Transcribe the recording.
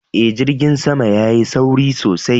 Eh, jirgin sama ya Yi sauri sosai.